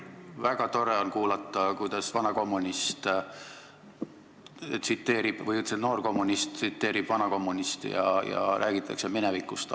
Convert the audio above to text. Väga tore on kuulata, kuidas noor kommunist tsiteerib vana kommunisti ja räägitakse minevikust.